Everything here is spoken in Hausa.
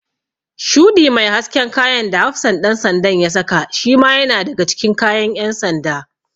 Shuɗi mai hasken kayan da hafsan ɗan sandan da ya saka shima yana daga cikin kayan ƴan sanda.